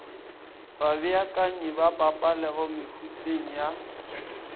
babeakanyi ba pabalelo mehuteng ya